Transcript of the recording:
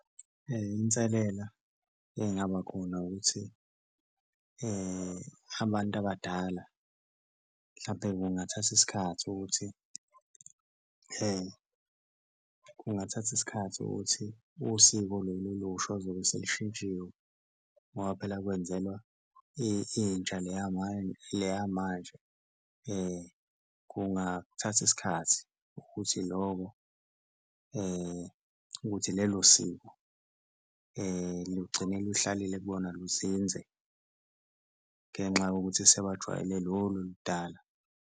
Inselela engaba khona ukuthi abantu abadala mhlampe kungathatha isikhathi ukuthi kungathatha isikhathi ukuthi usiko lolu olusha ozobe selushintshiwe ngoba phela kwenzelwa intsha le yamanje. Kungathatha isikhathi ukuthi ukuthi lelo siko lugcine luhlalile luzinze ngenxa yokuthi sebajwayele lolu oludala.